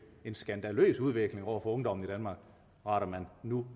en skandaløs udvikling over for ungdommen i danmark retter man nu